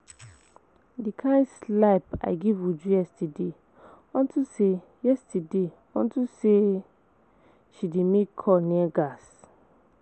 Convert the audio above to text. The kin slap I give Uju yesterday unto say yesterday unto say she dey make call near gas